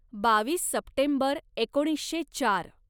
बावीस सप्टेंबर एकोणीसशे चार